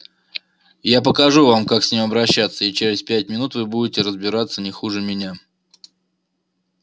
я покажу вам как с ним обращаться и через пять минут вы будете разбираться не хуже меня